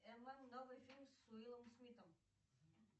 новый фильм с уиллом смитом